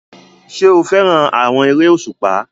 Ṣé o fẹ́ràn àwọn eré òṣùpá?